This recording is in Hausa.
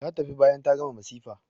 Ta tafi bayan ta gama masifa.